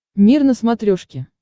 мир на смотрешке